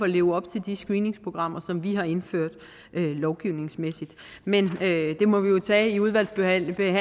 leve op til de screeningsprogrammer som vi har indført lovgivningsmæssigt men det må vi jo tage i udvalgsbehandlingen